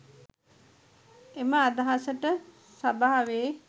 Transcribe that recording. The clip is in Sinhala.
එම අදහසට සභාවේ